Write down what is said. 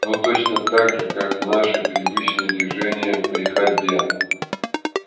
ну точно так же как наши привычные движения при ходьбе